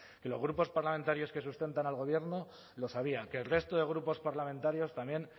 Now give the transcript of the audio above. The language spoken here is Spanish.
que los grupos parlamentarios que sustentan al gobierno lo sabían que el resto de grupos parlamentarios también